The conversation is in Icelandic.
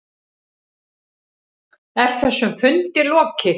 Er þessum fundi lokið?